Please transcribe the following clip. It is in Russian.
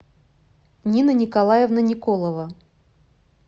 нина николаевна николова